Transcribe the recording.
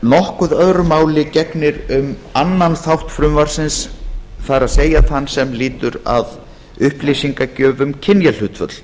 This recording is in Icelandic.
nokkuð öðru máli gegnir um annan þátt frumvarpsins það er þann sem lýtur að upplýsingagjöf um kynjahlutföll